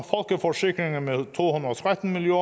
tretten million